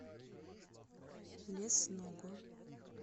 лесного